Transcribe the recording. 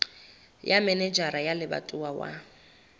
ya manejara wa lebatowa wa